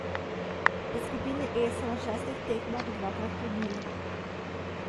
V skupini E so na šestih tekmah dvakrat klonili.